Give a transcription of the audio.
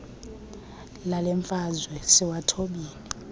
lale mfazwe siwathobile